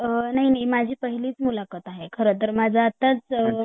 अ नाही नाही माझी पहिलीच मुलाखत आहे खर तर माझ आत्ताच अ